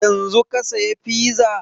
Yanzun ka saya fiza?